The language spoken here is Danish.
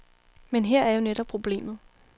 Men her er jo netop problemet.